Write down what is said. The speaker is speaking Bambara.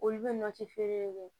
Olu bɛ nɔnɔ ci feere kɛ